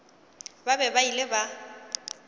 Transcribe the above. ba be ba ile ba